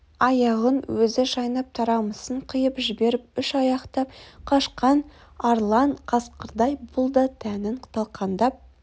аяғын өзі шайнап тарамысын қиып жіберіп үш аяқтап қашқан арлан қасқырдай бұл да тәнін талқандап